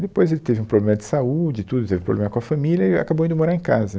Depois ele teve um problema de saúde e tudo, teve problema com a família e acabou indo morar em casa.